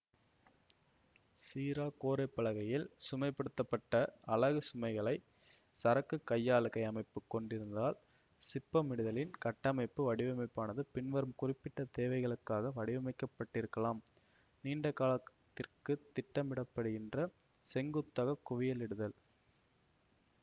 சீரா கோரைப்பலகையில் சுமைப்படுத்தப்பட்ட அலகு சுமைகளை சரக்கு கையாளுகை அமைப்பு கொண்டிருந்தால் சிப்பமிடுதலின் கட்டமைப்பு வடிவமைப்பானது பின்வரும் குறிப்பிட்ட தேவைகளுக்காக வடிவமைக்கப்பட்டிருக்கலாம் நீண்டகாலத்திற்குத் திட்டமிடப்படுகின்ற செங்குத்தாக குவியலிடுதல்